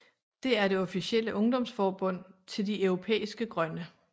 Det er det officielle ungdomsforbund til De Europæiske Grønne